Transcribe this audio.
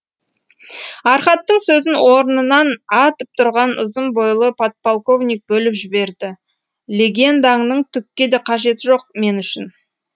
архаттың сөзін орнынан атып тұрған ұзын бойлы подполковник бөліп жіберді легендаңның түкке де қажеті жоқ мен үшін